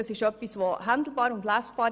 Dadurch ist er handhabbar und lesbar.